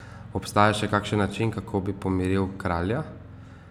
Obstaja še kakšen način, kako bi pomiril kralja?